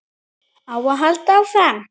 Á að halda áfram?